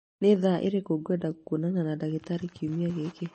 Nĩ thaa irĩkũ ngwenda kwonana na ndagĩtarĩ kiumia gĩkĩ